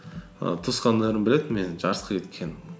і туысқандарым біледі менің жарысқа кеткенім